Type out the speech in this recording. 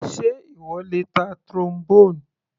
Sé ìwọ lè ta Trombone?